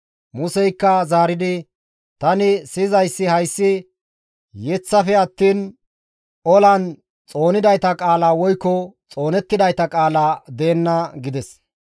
Museykka zaaridi, «Tani siyizayssi hayssi yeththafe attiin, olan xoonidayta qaala woykko xoonettidayta qaala deenna» gides.